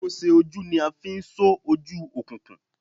Ikose oju ni a n fi so oju okunkun.